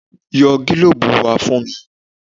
Yọ gílòòòbù wá fún mi.